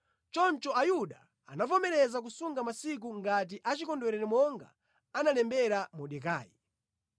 Choncho Ayuda anavomereza kusunga masikuwa ngati a chikondwerero monga analembera Mordekai.